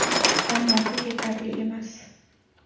Ammo bu yetarli emas.